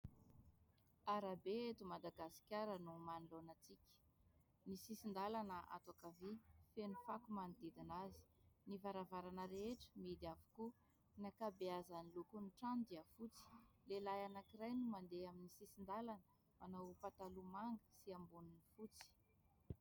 Arabe eto Madagasikara no manoloana antsika ny sisin-dalana ato ankavia feno fako manodidina azy ny varavarana rehetra mihidy avokoa ny ankabeazan'ny lokon'ny trano dia fotsy. Lehilahy anankiray no mandeha amin'ny sisin-dalana manao pataloha manga sy amboniny fotsy